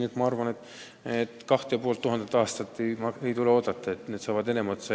Nii et ma arvan, et 2500 aastat ei tule oodata – need dokumendid saavad enne otsa.